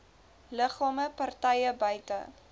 liggame partye buite